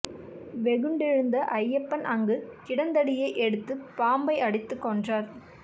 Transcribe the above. வெகுண்டெழுந்த அய்யப்பன் அங்கு கிடந்த தடியை எடுத்து பாம்பை அடித்துக் கொன்றார்